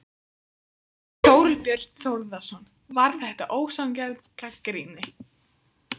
Þorbjörn Þórðarson: Var þetta ósanngjörn gagnrýni?